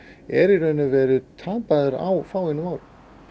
er í raun og veru tapaður á fáeinum árum